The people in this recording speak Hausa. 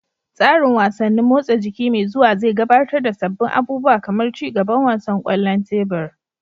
Tsarin wasannin motsa jiki mai zuwa zai gabatar da sabbin abubuwa kamar ci gaban wasan kwallon tebur.